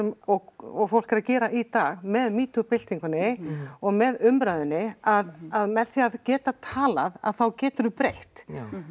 og fólk er að gera í dag með byltingunni og með umræðunni að að með því að geta talað þá geturðu breytt